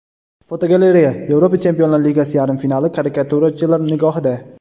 Fotogalereya: Yevropa Chempionlar Ligasi yarim finali karikaturachilar nigohida.